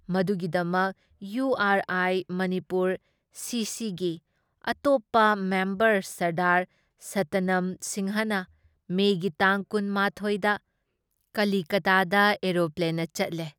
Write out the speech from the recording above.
ꯃꯗꯨꯒꯤꯗꯃꯛ ꯏꯌꯨ ꯑꯥꯔ ꯑꯥꯏ ꯃꯅꯤꯄꯨꯔ ꯁꯤꯁꯤꯒꯤ ꯑꯇꯣꯞꯄ ꯃꯦꯝꯕꯔ ꯁꯔꯗꯥꯔ ꯁꯇꯅꯝ ꯁꯤꯡꯍꯅ ꯃꯦꯒꯤ ꯇꯥꯡ ꯀꯨꯟ ꯃꯥꯊꯣꯏ ꯗ ꯀꯂꯤꯀꯇꯥꯗ ꯑꯦꯔꯣꯄ꯭ꯂꯦꯟꯅ ꯆꯠꯂꯦ ꯫